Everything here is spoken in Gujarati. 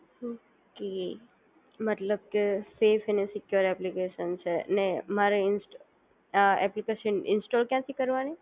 ઓકે મતલબ કે સેફ એન્ડ સિક્યોર એપ્લિકેશન છે અને મારે આ એપ્લિકેશન ઇન્સ્ટોલ ક્યાંથી કરવાની